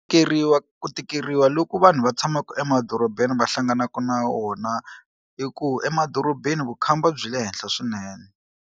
Tikeriwa ku tikeriwa loko vanhu va tshamaka emadorobeni va hlanganaka na wona i ku emadorobeni vukhamba byi le henhla swinene.